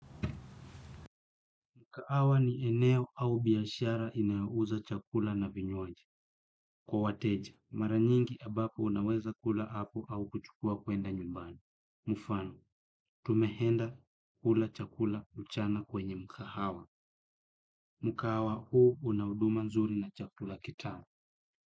Mkaawa ni eneo au biyashara inayouza chakula na vinywaji. Kwa wateja, maranyingi abapo unaweza kula hapo au kuchukua kwenda nyumbani. Mufano, tumeenda hula chakula mchana kwenye mkahawa. Mkahawa huu una huduma nzuri na chakula kitamu.